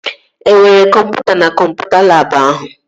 E nwere kọmputa na kọmputa labụ ahụ?